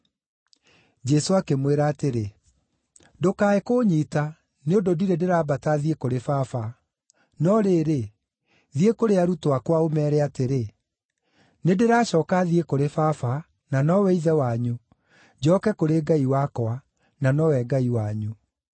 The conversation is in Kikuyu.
Jesũ akĩmwĩra atĩrĩ, “Ndũkae kũnyiita, nĩ ũndũ ndirĩ ndĩrambata thiĩ kũrĩ Baba! No rĩrĩ, thiĩ kũrĩ arutwo akwa, ũmeere atĩrĩ, ‘Nĩndĩracooka thiĩ kũrĩ Baba, na nowe Ithe wanyu, njooke kũrĩ Ngai wakwa, na nowe Ngai wanyu.’ ”